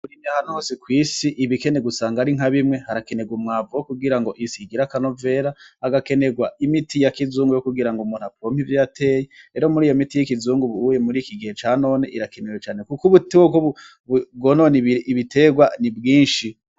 Muri mihanuzi kw'isi ibikene gusanga ari nka bimwe harakenerwa umwavu wo kugira ngo isiigira akanovera agakenerwa imiti ya kizungu yo kugira ngo mutapompi ivyateye ero muri iyo miti y'ikizunguba uye muri iki gihe ca none irakenewe cane, kuko ubuti wo bwononi ibiterwa ni bwinshi.